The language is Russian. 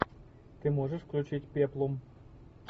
ты можешь включить пеплум